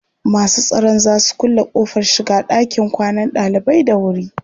Masu tsaron za su kulle ƙofar shiga ɗakin kwanan ɗalibai da wuri.